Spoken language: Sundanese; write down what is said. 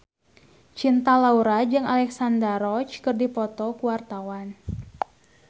Cinta Laura jeung Alexandra Roach keur dipoto ku wartawan